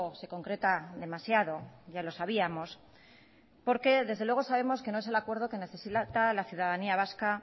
se concreta demasiado ya lo sabíamos porque desde luego sabemos que no es el acuerdo que necesita la ciudadanía vasca